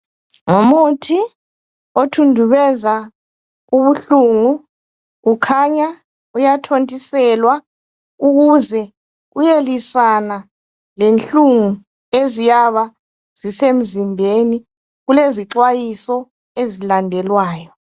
Ngumuthi othundubeza ubuhlungu kukhanya uyathontiselwa ukuze uyelwisana lenhlungu eziyaba zisemzimbeni. Kulezixwayiso ezilandelwayo.